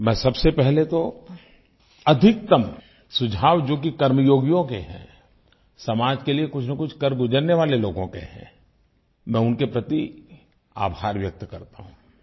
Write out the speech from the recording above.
मैं सबसे पहले तो अधिकतम सुझाव जो कि कर्मयोगियों के हैं समाज के लिये कुछनकुछ कर गुज़रने वाले लोगों के हैं मैं उनके प्रति आभार व्यक्त करता हूँ